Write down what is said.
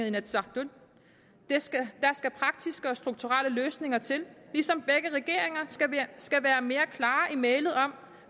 inatsisartut der skal praktiske og strukturelle løsninger til ligesom begge regeringer skal være mere klare i mælet om